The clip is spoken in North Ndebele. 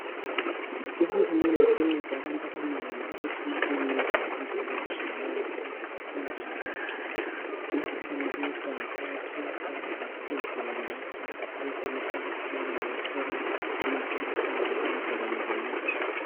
Uhulumende sencede abantu abanengi ngokuletha amakilinika endaweni ezitshiyeneyo ukuze bafinyelele bonke. Imikhuhlane le ehlanganisela imvukuzane, isihudo lamakanda. Labo sebenelisa ukuthi bathole amaphilizi angabanceda kanye lamithi.